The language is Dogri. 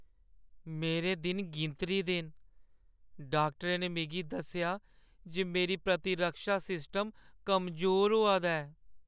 मेरे दिन गिनतरी दे न। डाक्टरै ने मिगी दस्सेआ जे मेरी प्रतिरक्षा सिस्टम कमजोर होआ दा ऐ।